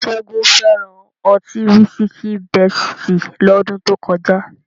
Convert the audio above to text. Ṣẹ́gun fẹ́ràn ọtí wísíkìi Bẹ́sìtì lọ́dún tó kọjá